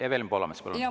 Evelin Poolamets, palun!